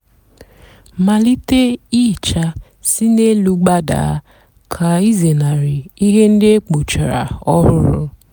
malite íhíchá sị n'élú gbadaa kà ịzénárí íhè ndị á ékpochara ọhụrụ.